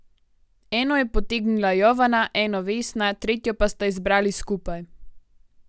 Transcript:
Eno je potegnila Jovana, eno Vesna, tretjo pa sta izbrali skupaj.